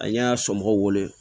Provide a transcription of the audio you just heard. An y'a somɔgɔw wele